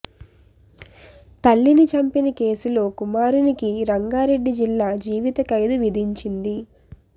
తల్లిని చంపిన కేసులో కుమారునికి రంగారెడ్డి జిల్లా జీవిత ఖైదు విధించింది